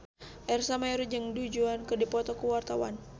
Ersa Mayori jeung Du Juan keur dipoto ku wartawan